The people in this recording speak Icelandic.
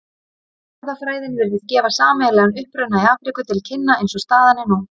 Erfðafræðin virðist gefa sameiginlegan uppruna í Afríku til kynna eins og staðan er nú.